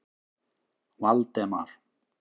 Valdemar